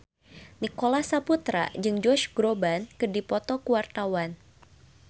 Nicholas Saputra jeung Josh Groban keur dipoto ku wartawan